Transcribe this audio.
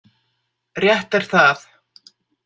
Rétt er það.